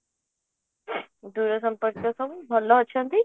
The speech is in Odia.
ଦୂର ସମ୍ପର୍କୀୟ ସବୁ ଭଲ ଅଛନ୍ତି